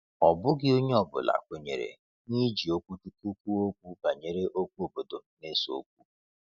Ọ bụghị onye ọ bụla kwenyere n’iji okwuchukwu kwuo okwu banyere okwu obodo na-ese okwu.